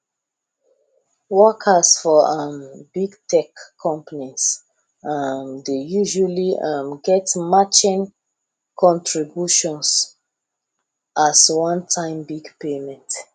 workers for um big tech companies um dey usually um get matching contributions as onetime big payment